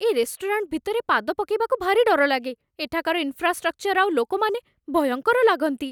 ଏ restaurant ଭିତରେ ପାଦ ପକେଇବାକୁ ଭାରି ଡର ଲାଗେ । ଏଠାକାର ଇନଫ୍ରାଷ୍ଟ୍ରକ୍ଚର ଆଉ ଲୋକମାନେ ଭୟଙ୍କର ଲାଗନ୍ତି ।